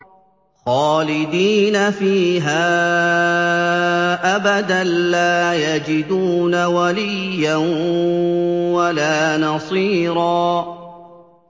خَالِدِينَ فِيهَا أَبَدًا ۖ لَّا يَجِدُونَ وَلِيًّا وَلَا نَصِيرًا